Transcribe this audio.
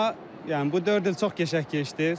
Amma yəni bu dörd il çox qəşəng keçdi.